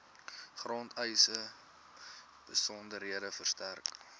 grondeise besonderhede verstrek